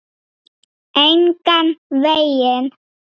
Engan veginn.